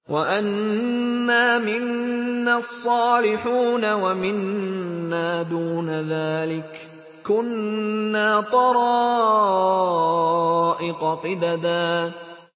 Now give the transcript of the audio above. وَأَنَّا مِنَّا الصَّالِحُونَ وَمِنَّا دُونَ ذَٰلِكَ ۖ كُنَّا طَرَائِقَ قِدَدًا